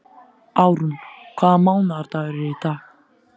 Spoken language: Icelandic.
Árún, hvaða mánaðardagur er í dag?